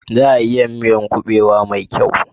Za a iya yin miyar kuɓewa mai kyau?